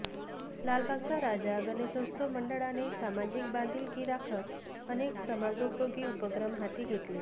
लालबागचा राजा गणेशोत्सव मंडळाने सामाजिक बांधिलकी राखत अनेक समाजोपयोगी उपक्रम हाती घेतले